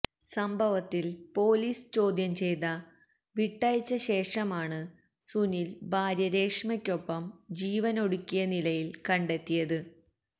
സംഭവത്തില് പോലീസ് ചോദ്യം ചെയ്ത വിട്ടയച്ചശേഷമാണ് സുനില് ഭാര്യ രേഷ്മയ്ക്കൊപ്പം ജീവനൊടുക്കിയ നിലയില് കണ്ടെത്തിയത്